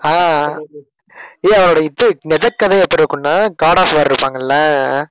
ஆஹ் ஏய், அவரோட இது நிஜக் கதை எப்படி இருக்கும்னா காட் ஆஃப் வார் இருப்பாங்கல்ல?